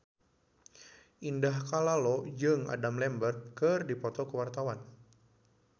Indah Kalalo jeung Adam Lambert keur dipoto ku wartawan